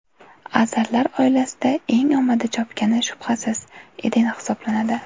Azarlar oilasida eng omadi chopgani, shubhasiz, Eden hisoblanadi.